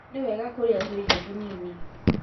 Nĩ wega kũrĩa tũirio tũnini